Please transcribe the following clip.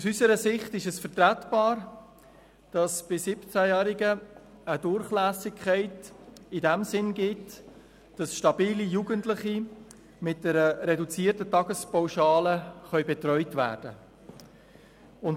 Aus unserer Sicht ist es vertretbar, dass es bei 17-Jährigen eine Durchlässigkeit in dem Sinn gibt, dass stabile Jugendliche mit einer reduzierten Tagespauschale betreut werden können.